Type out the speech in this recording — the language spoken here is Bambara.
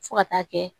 Fo ka taa kɛ